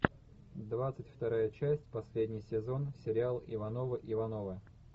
двадцать вторая часть последний сезон сериал ивановы ивановы